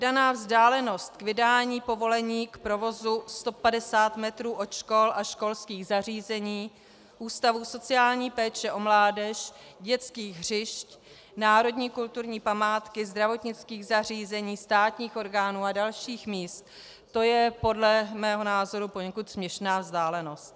Daná vzdálenost k vydání povolení k provozu 150 metrů od škol a školských zařízení, ústavů sociální péče o mládež, dětských hřišť, národní kulturní památky, zdravotnických zařízení, státních orgánů a dalších míst, to je podle mého názoru poněkud směšná vzdálenost.